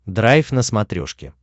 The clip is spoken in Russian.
драйв на смотрешке